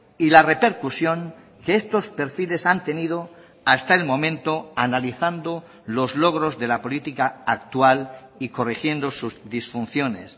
y la repercusión que estos perfiles han tenido hasta el momento analizando los logros de la política actual y corrigiendo sus disfunciones